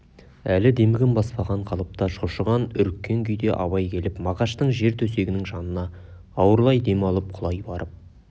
әлі демігін баспаған қалыпта шошыған үріккен күйде абай келіп мағаштың жер төсегінің жанына ауырлай дем алып құлай барып